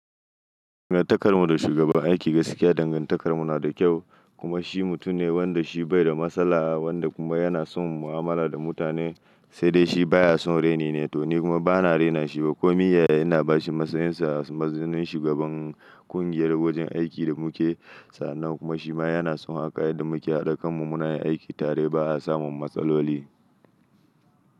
Dangantakar mu da shugaban aiki gaskiya dangantakar mu na da kyau kuma shi mutum ne wanda shi bai da matsala wanda kuma yana son mu'amala da mutane sai dai shi baya son raini ne to ni kuma bana raina shi ba komi yaya ina bashi matsayinsa a matsayin shugaban kungiyar wajen aikin da muke sa'nnan kuma shi ma yana son hakan yadda muke haɗa kanmu muna yin aiki tare ba a samun matsaloli.